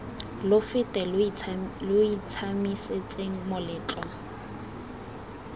lo fete lo itshiamisetseng moletlo